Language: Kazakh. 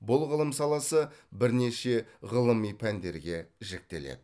бұл ғылым саласы бірнеше ғылыми пәндерге жіктеледі